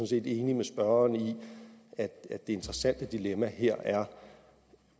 set enig med spørgeren i at det interessante dilemma her er